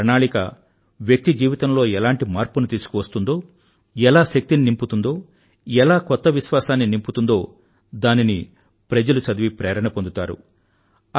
ఒక ప్రణాళిక వ్యక్తి జీవితంలో ఎలాంటి మార్పును తీసుకువస్తుందో ఎలా శక్తిని నింపుతుందో ఎలా కొత్త విశ్వాసాన్ని నింపుతుందో దానిని చదివి ప్రజలు ప్రేరణ పొందుతారు